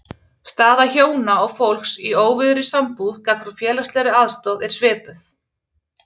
Staða hjóna og fólks í óvígðri sambúð gagnvart félagslegri aðstoð er svipuð.